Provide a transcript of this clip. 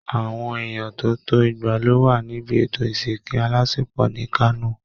Àwọn èèyàn tó tó igba ló wà níbi ètò ìsìnkù alásinpọ̀ ní Kano